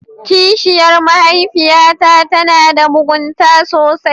Kishiyar mahaifiyata tana da mugunta sosai.